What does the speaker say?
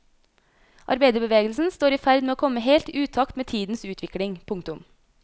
Arbeiderbevegelsen står i ferd med å komme helt i utakt med tidens utvikling. punktum